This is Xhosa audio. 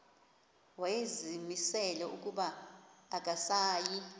wayezimisele ukuba akasayi